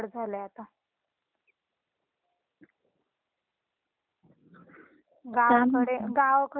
- गावाकडे गावाकडे खरं मज्जाय न थंडीच्या दिवसामध्ये